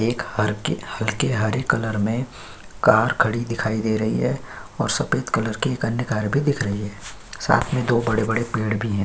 एक हरके हल्के हरे कलर में कार खड़ी दिखाई दे रही है और सफ़ेद कलर की अन्य एक कार भी दिख रही है। साथ में दो बड़े-बड़े पेड़ भी हैं।